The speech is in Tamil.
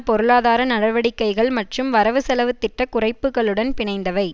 பொருளாதார நடவடிக்கைகள் மற்றும் வரவுசெலவு திட்ட குறைப்புக்களுடன் பிணைந்தவை